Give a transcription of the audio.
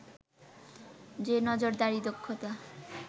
যে নজরদারি, দক্ষতা